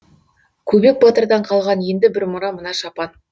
көбек батырдан қалған енді бір мұра мына шапан